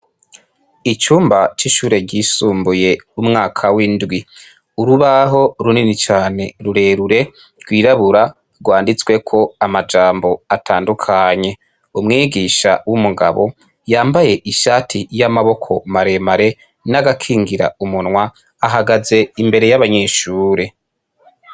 Icumba c'ishure ryisumbuye umwaka w'indwi, urubaho runini cane rurerure, rwirabura rwanditsweko amajambo atandukanye umwigisha w'umugabo yambaye ishati y'amaboko maremare n'agakingira umunwa ahagaze imbere y'abanyeshure.